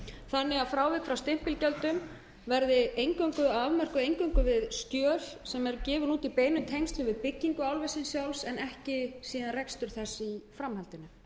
þannig að frávik frá stimpilgjöldum verði afmörkuð eingöngu við skjöl sem eru gefin út í beinum tengslum við byggingu álversins sjálfs en ekki síðan rekstur þess í framhaldinu